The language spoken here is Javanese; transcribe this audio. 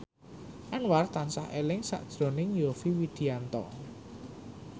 Anwar tansah eling sakjroning Yovie Widianto